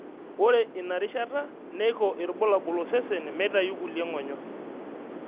Ore ina rishata neiko ilbulabul osesen meitayu kulie ngonyo.